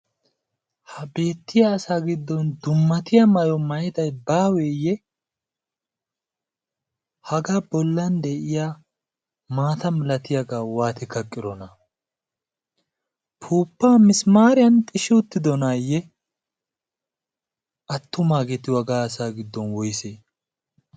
ha beettiya asaa giddon dummatiya mayo mayday baaweeyye hagaa bollan de'iya maata milatiyaagaa waati kaqqirona puuppa misimaariyan xishi uttidonaayye attumaageeti wagaa asaa giddon woyse?